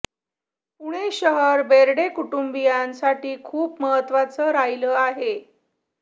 पुणे शहर बेर्डे कुटुंबियांसाठी खूप महत्त्वाचं राहिलं आहे